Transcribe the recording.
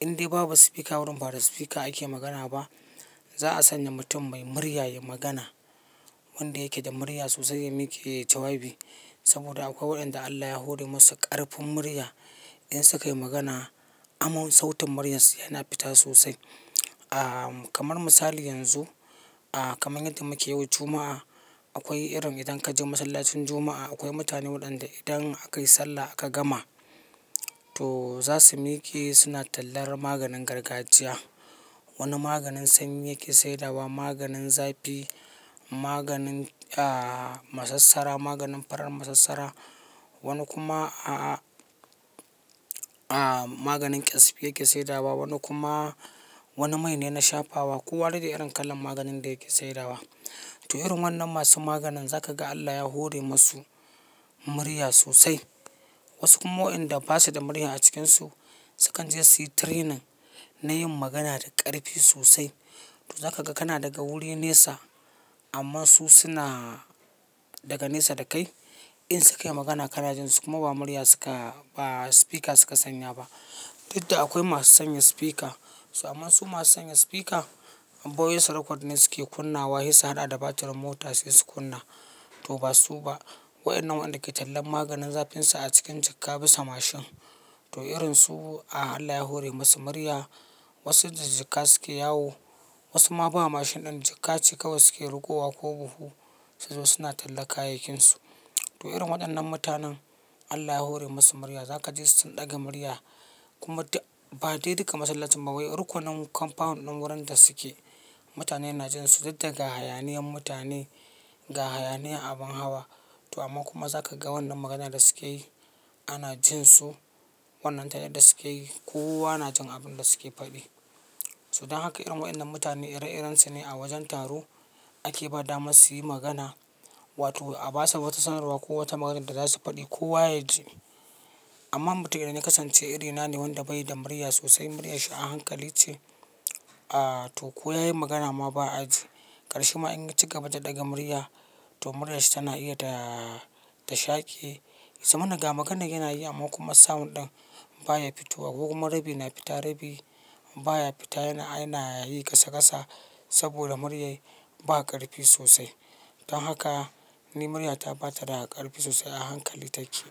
indai babu speaker wurin ba da speaker ake magana ba, za a sanya mutum mai murya ya yi magana. Wanda yake da murya sosai ya miƙe ya yi jawabi saboda akwai waɗanda Allah ya huri masu ƙarfin murya in sukayi magana aman sautin muryarsu yana fita sosai. Kamar misali yanzu kamar yadda muke yau Juma'a, akwai irin idan ka je masallacin Juma'a akwai mutane waɗanda idan aka yi sallah aka gama to za su miƙe suna tallar maganin gargajiya. Wani maganin sanyi yake saidawa, maganin zafi, maganin a-masassara, maganin farar masassara. Wani kuma a-maganin ƙyasbi yake saidawa, wani kuma wani mai ne na shafawa. Ko wane dai irin kalan maganin da yake saidawa. To irin waɗannan masu maganin za ka ga Allah ya hore masu murya sosai. Wasu kuma waɗanda ba su da murya a cikin su, sukan je su yi training na yin magana da ƙarfi sosai. To za ka ga kana daga wuri nesa amma su suna daga nesa da kai in sukayi magana kanajin su kuma ba murya suka-- ba speaker suka sanya ba. Tunda akwai masu sanya speaker, amma su masu sanya speaker voice record ne suke kunnawa sai su haɗa da batirin mota suke kunna. To ba su ba. Waɗannan waɗanda ke tallan maganin zafinsa a cikin jakka bisa mashin. To irin su Allah ya hore musu murya. Wasu jijika suke yawo, wasu ma ba mashin ɗin jika ce kawai suke rikowa ko buhu suzo suna talla kayayyakinsu. To irin waɗannan mutanen Allah ya hore masu murya. Za ka je sun ɗaga murya kuma ba dai duka masallacin ba wai rukunan compound ɗin wurin da suke mutane na jin su. Tunda ga hayaniyan mutane ga hayaniya abin hawa. To amma kuma za ka ga wannan maganan da suke yi ana jin su wannan ta yadda suke yi kowana jin abin da suke faɗi. To don haka irin waɗannan mutane ire-irensu ne a wajen taro ake ba damar su yi magana wato a ba su wata sanarwa ko wata maganan da za su faɗi kowa ya ji. Amma mutumin da na kasance iri na ne wanda bayi da murya sosai muryar shi a hankali ce to ko ya yi magana ma ba a ji. Karshi ma in ya ci gaba da ɗaga murya to muryar shi tana iya ta-shake. Samana ga maganan yana yi amma kuma sound ɗin baya fito. Ko kuma rabi na fita rabi baya fita yana yi ƙasa ƙasa saboda muryar ba ƙarfi sosai. Don haka ni murya ta bata da ƙarfi sosai a hankali take.